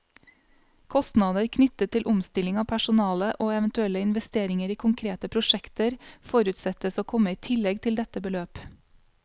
Kostnader knyttet til omstilling av personale, og eventuelle investeringer i konkrete prosjekter, forutsettes å komme i tillegg til dette beløp.